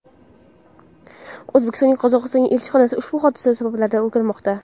O‘zbekistonning Qozog‘istondagi elchixonasi ushbu hodisa sabablarini o‘rganmoqda .